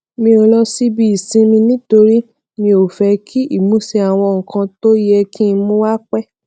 mi ò lọ síbi ìsinmi nítorí mi ò fẹ kí ìmúṣẹ àwọn nǹkan tó yẹ kí n mú wá pé